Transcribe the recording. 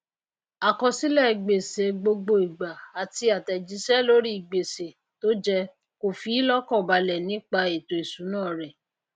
àkọsílè gbèsè gbogbo ìgbà àtí àtèjísé lóri gbèsè tójẹ kò fíí lókàn balè nípa ètò ìsúná rè